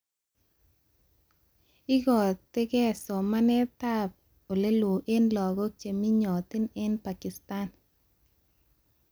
Ikotee somaneteab olelo eng laguk cheminyotin eng Pakistan